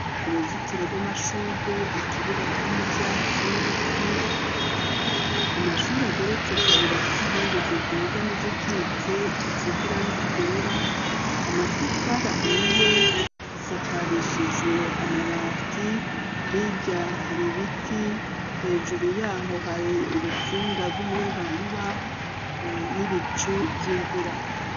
Uruzitiro rw'amashurwe, ikibuga kirimwo ivyatsi n'ibiti, amashuri ageretse kabiri afise inkingi ziduga n'izikitse zisize irangi ryera; amatafari ahiye, isakarishijwe amabati; hirya hari ibiti, hejuru yaho hari urutsinga rw'umuyagankuba n'ibicu vy'imvura.